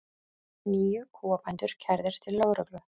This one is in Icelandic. Níu kúabændur kærðir til lögreglu